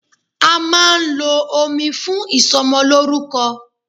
A máà ń lo omi fún ìsọmọlórúkọ.